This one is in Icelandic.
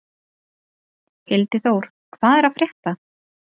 Hildiþór, hvað er að frétta?